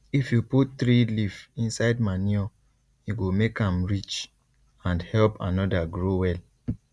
if you put tree leaf inside manure e go make am rich and help another grow well